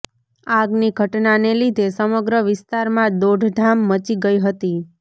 આગની ઘટનાને લીધે સમગ્ર વિસ્તારમાં દોડધામ મચી ગઈ હતી